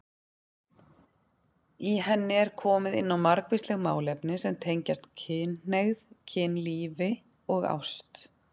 Í henni er komið inn á margvísleg málefni sem tengjast kynhneigð, kynlífi og ást.